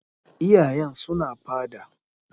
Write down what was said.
Iyayen suna fada.